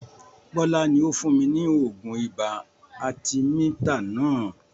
Bọlá ni ó fún mi ní oògùn ibà arthemeter náà